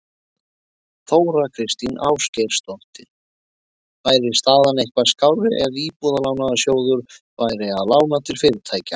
Þóra Kristín Ásgeirsdóttir: Væri staðan eitthvað skárri ef Íbúðalánasjóður væri að lána til fyrirtækja?